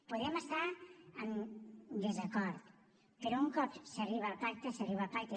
podem estar en desacord però un cop s’arriba al pacte s’arriba al pacte